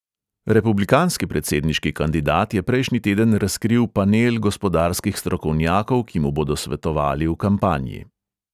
Republikanski predsedniški kandidat je prejšnji teden razkril panel gospodarskih strokovnjakov, ki mu bodo svetovali v kampanji.